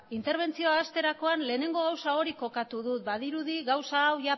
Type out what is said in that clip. interbentzioa hasterakoan lehenengo gauza hori kokatu dut badirudi gauza hau